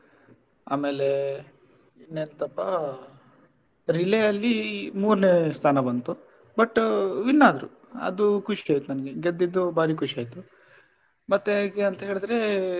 ಆಮೇಲೆ ಇನ್ನೆತ್ತಪ್ಪ relay ಅಲ್ಲಿ ಮೂರ್ನೆ ಸ್ಥಾನ ಬಂತು but win ಆದ್ರು ಅದು ಖುಷಿ ಆಯ್ತು ನಂಗೆ ಗೆದ್ದಿದ್ದು ಬಾರಿ ಖುಷಿ ಆಯ್ತು ಮತ್ತೆ ಹೇಗೆ ಅಂತೆಳಿದ್ರೆ.